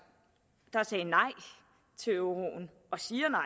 der sagde nej til euroen og siger nej